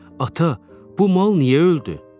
Ata, bu mal niyə öldü?